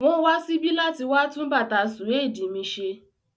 Wọ́n ma wá síbí láti wá tún bàtà sùédì mi ṣe.